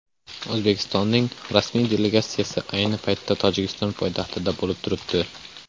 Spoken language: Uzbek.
O‘zbekistonning rasmiy delegatsiyasi ayni paytda Tojikiston poytaxtida bo‘lib turibdi.